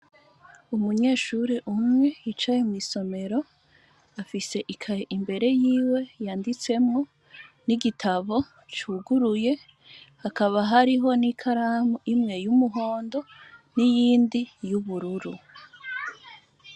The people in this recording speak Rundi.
Umunyeshure umwe yicaye mw'isomero afise ikaye imbere yiwe yanditsemwo n'igitabo cuguruye hakaba harimwo ikaramu imwe y'umuhondo niyindi y'ubururu.